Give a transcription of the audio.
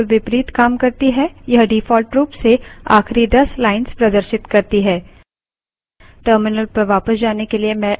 tail command head command के बिलकुल विपरीत काम करती है यह default रूप से आखिरी दस lines प्रदर्शित करती है